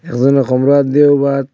একজনে কোমরে হাত দিয়েও বাত--